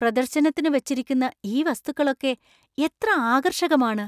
പ്രദർശനത്തിനു വച്ചിരിക്കുന്ന ഈ വസ്തുക്കളൊക്കെ എത്ര ആകർഷകമാണ്!